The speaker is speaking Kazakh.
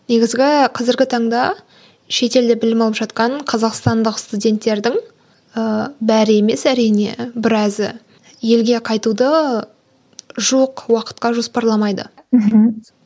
негізгі қазіргі таңда шетелде білім алып жатқан қазақстандық студентердің ыыы бәрі емес әрине біразы елге қайтуды жоқ уақытқа жоспарламайды мхм